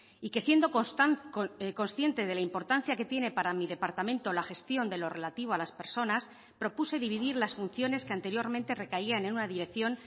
y que siendo consciente de la importancia que tiene para mi departamento la gestión de lo relativo a las personas propuse dividir las funciones que anteriormente recaían en una dirección